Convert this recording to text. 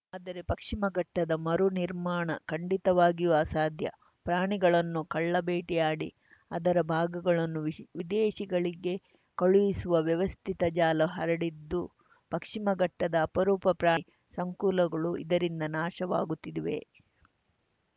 ಆದರೆ ಪಕ್ಚಿಮಘಟ್ಟದ ಮರು ನಿರ್ಮಾಣ ಖಂಡಿತವಾಗಿಯೂ ಅಸಾಧ್ಯ ಪ್ರಾಣಿಗಳನ್ನು ಕಳ್ಳಬೇಟೆಯಾಡಿ ಅದರ ಭಾಗಗಳನ್ನು ವಿಶ್ ವಿದೇಶಿಗಳಿಗೆ ಕಳುಹಿಸುವ ವ್ಯವಸ್ಥಿತ ಜಾಲ ಹರಡಿದ್ದು ಪಕ್ಚಿಮಘಟ್ಟದ ಅಪರೂಪ ಪ್ರಾಣಿ ಸಂಕುಲಗಳು ಇದರಿಂದ ನಾಶವಾಗುತ್ತಿವೆ